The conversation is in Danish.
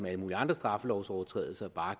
alle mulige andre straffelovsovertrædelser bare